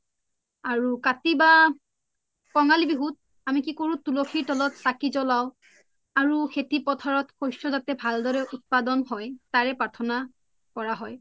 কতি বা কোনংলি বিহুত আমি কি কৰু তুল্সি তলত চাকি জোলাও আৰু সেতি পোথাৰোত শস্য জাতে ভালদোৰে উত্পাদন হয় তাৰে পাৰ্থনা কৰা হয়